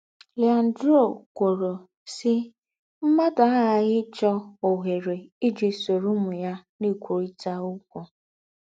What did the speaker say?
Leandro kwòrò, sí, “ M̀mádù àghààghì íchọ̀ òhèrè íjì sóró úmù ya ná-ékwùrị̀tà ókwú. ”